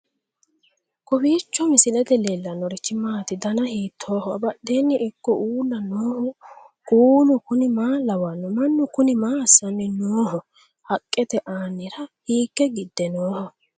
kowiicho misilete leellanorichi maati ? dana hiittooho ?abadhhenni ikko uulla noohu kuulu kuni maa lawannoho? mannu kuni maa aassanni nooho haqqete aanira hiikke gidde nooho